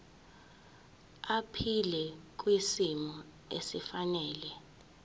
aphile kwisimo esifanele